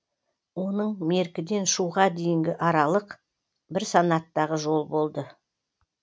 оның меркіден шуға дейінгі аралық бір санаттағы жол болады